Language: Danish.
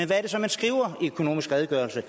hvad er det så man skriver i økonomisk redegørelse